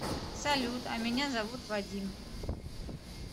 салют а меня зовут вадим